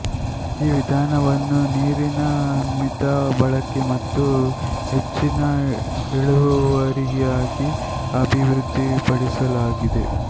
ಈ ವಿಧಾನವನ್ನು ನೀರಿನ ಮಿತಬಳಕೆ ಮತ್ತು ಹೆಚ್ಚಿನ ಇಳುವರಿಗಾಗಿ ಅಭಿವುಧ್ಡಿಪಡಿಸಲಾಗಿದೆ